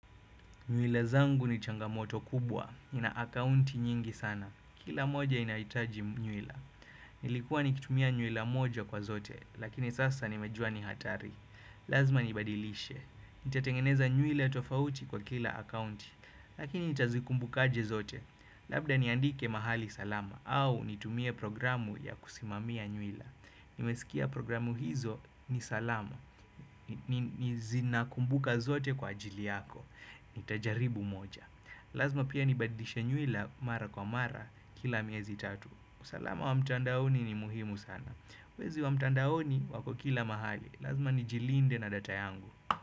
Nywila zangu ni changamoto kubwa, nina akaunti nyingi sana, kila moja inaitaji nyuila Nilikuwa nikitumia nywila moja kwa zote, lakini sasa nimejua ni hatari Lazma nibadilishe, nitatengeneza nywila tofauti kwa kila akaunti Lakini nitazikumbukaje zote, labda niandike mahali salama au nitumie programu ya kusimamia nywila Nimesikia programu hizo ni salama, ni zinakumbuka zote kwa ajili yako Nitajaribu moja Lazma pia nibadilishe nywila mara kwa mara kila miezi tatu usalama wa mtandaoni ni muhimu sana Wezi wa mtandaoni wako kila mahali Lazma nijilinde na data yangu.